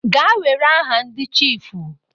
Gaa were aha ndi chiifu.